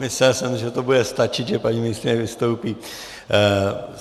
Myslel jsem, že to bude stačit, že paní ministryně vystoupí.